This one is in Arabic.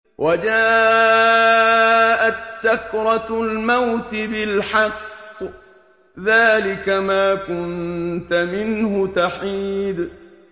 وَجَاءَتْ سَكْرَةُ الْمَوْتِ بِالْحَقِّ ۖ ذَٰلِكَ مَا كُنتَ مِنْهُ تَحِيدُ